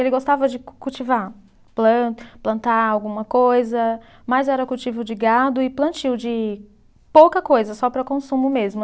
Ele gostava de cu cultivar, plan plantar alguma coisa, mas era cultivo de gado e plantio de pouca coisa, só para consumo mesmo.